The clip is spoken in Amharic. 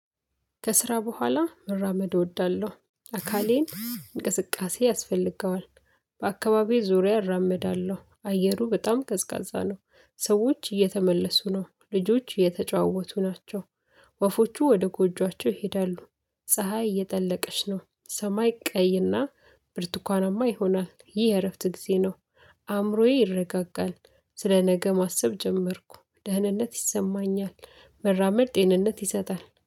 ከስራ በኋላ መራመድ እወዳለሁ አካሌን እንቅስቃሴ ያስፈልገዋል። በአካባቢው ዙሪያ እራመዳለሁ አየሩ በጣም ከዝቃዛ ነው። ሰዎች እየተመለሱ ነው ልጆች እየተጫወቱ ናቸው። ወፎቹ ወደ ጎጆአቸው ይሄዳሉ። ፀሀይ እየጠለቀች ነው ሰማይ ቀይና ብርቱካናማ ይሆናል። ይህ የእረፍት ጊዜ ነው። አእምሮዬ ይረጋጋል ስለነገ ማሰብ ጀመርኩ ደህንነት ይሰማኛል። መራመድ ጤንነት ይሰጣል